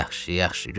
"Yaxşı, yaxşı, götür.